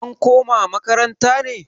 an koma makaranta ne?